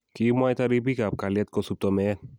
Kikimwaita ribik ab kalyet kosupto meet